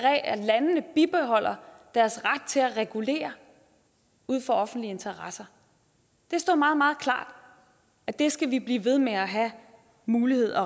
landene bibeholder deres ret til at regulere ud fra offentlige interesser det står meget meget klart at det skal vi blive ved med at have mulighed